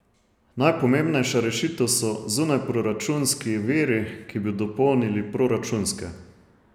Najpomembnejša rešitev so zunajproračunski viri, ki bi dopolnili proračunske.